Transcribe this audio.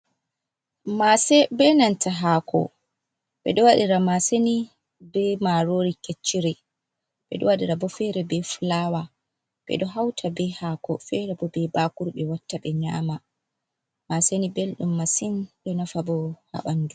Maase be nanta hako ɓeɗo waɗira maaseni be marori kecciri ɓeɗo waɗira bo fere be fulawa ɓeɗo hauta be hako fere bo be bakuru ɓe watta ɓe nyama maaseni belɗum masin ɗo nafa bo haɓandu.